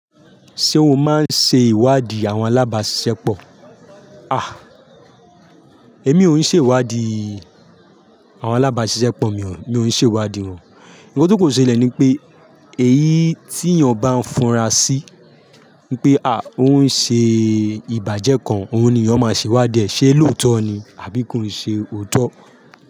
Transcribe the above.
Ṣé o máa ń ṣe ìwádìí àwọn alábaṣiṣẹ́pọ̀? À, èmi ò ń ṣe ìwádìí àwọn alábáṣiṣẹ́pọ̀ mi ò, mi ò ń ṣe ìwádìí wọn. Nkàn tó kàn ṣelẹ̀ ní pé èyí tí èèyàn bá ń fura sí pé à ó ń ṣe ìbàjẹ́ kan, òun ni èèyàn máa ṣe ìwádìí ẹ, ṣe lóòótọ́ ni àbí kò ń ṣe òótọ́?